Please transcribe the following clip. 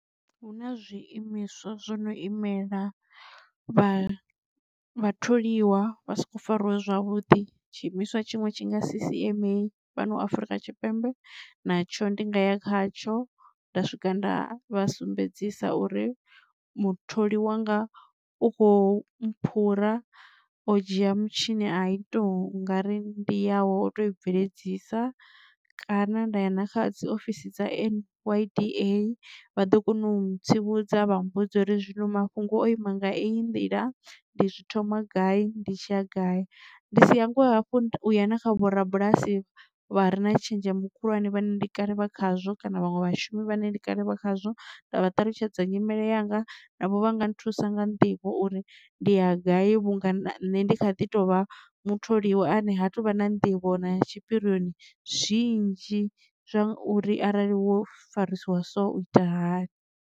Huna zwiimiswa zwo no imela vha vha tholiwa vha soko fariwa zwavhuḓi tshi imiswa tshiṅwe tshi nga C_C_M_A fhano afrika tshipembe natsho ndi nga ya khatsho nda swika nda vhasumbedzisa uri mutholi wanga u khou mphura o dzhia mutshini a i tou nga ri ndi yawe wo tou i bveledzisa. Kana nda ya na kha dzi ofisini dza N_Y_D_A vha ḓo kona u ntsivhudza vha mmbudza uri zwino mafhungo o ima nga eyi nḓila ndi zwi thoma gai ndi tshi ya gai ndi si hangwe hafhu u ya na kha vhorabulasi vha re na tshenzhemo khulwane vhane ndi kale vha khazwo kana vhaṅwe vhashumi vhane ndi kale vha khazwo nda vha ṱalutshedza nyimele yanga navho vha nga nthusa nga nḓivho uri ndi ya gai vhunga na nṋe ndi kha ḓi tovha mutholiwa ane ha tuvha na nḓivho na tshipirioni zwinzhi zwa uri arali wo farisiwa so u ita hani.